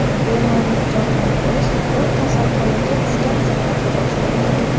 Bemorni jonlantirish u kasalxonaga tushgan zahoti boshlangan.